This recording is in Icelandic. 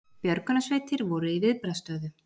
Björgunarsveitir voru í viðbragðsstöðu